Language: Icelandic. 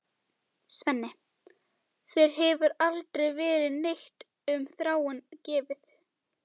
Svenni, þér hefur aldrei verið neitt um Þráin gefið.